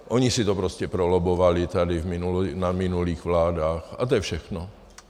Oni si to prostě prolobbovali tady na minulých vládách, a to je všechno.